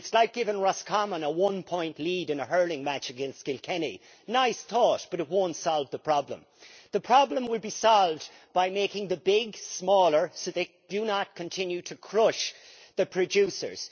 It is like giving Roscommon a one point lead in a hurling match against Kilkenny nice thought, but it will not solve the problem. The problem will be solved by making the big smaller so they do not continue to crush the producers.